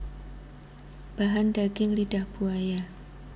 Bahan Daging lidah buaya